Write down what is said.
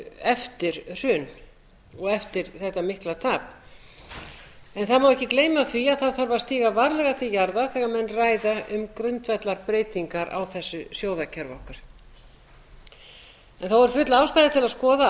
eftir hrun og eftir þetta mikla tap það má ekki gleyma því að það þarf að stíga varlega til jarðar þegar menn ræða um grundvallarbreytingar á þessu sjóðakerfi okkar þó er full ástæða til að